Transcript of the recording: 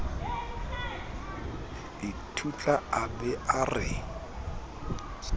ithutla a ba a re